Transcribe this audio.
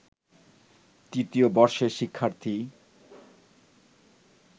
তৃতীয় বর্ষের শিক্ষার্থী